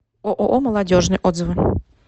ооо молодежный отзывы